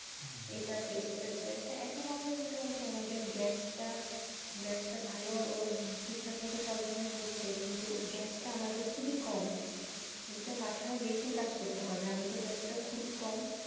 এটা Face করেছে এখন আবার মোটামুটি আমাদের Gas টা Gas টা ভালো ও ঠিকঠাক মত সরবারহ হচ্ছে কিন্তু Gas টা আমাদের খুবি কম এটা মাথায় দেখে কাজ করতে হবে আমাদের Gas টা খুবিই কম।